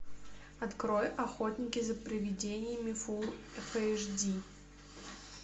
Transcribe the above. открой охотники за привидениями фулл эш ди